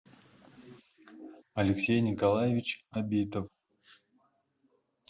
алексей николаевич абитов